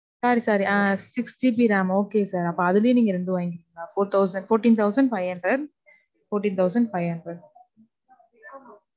Sorry, sorry. Ah Six GB ram. Okay sir. அப்போ அதுலையே நீங்க ரெண்டு வாங்கிக்குங்க. Four thousand. Fourteen thousand five hundred, fourteen thousand five hundred.